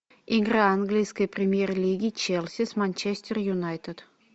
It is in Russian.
игра английской премьер лиги челси с манчестер юнайтед